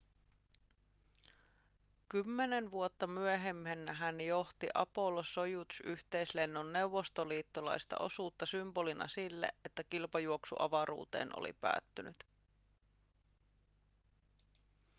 kymmenen vuotta myöhemmin hän johti apollo-sojuz-yhteislennon neuvostoliittolaista osuutta symbolina sille että kilpajuoksu avaruuteen oli päättynyt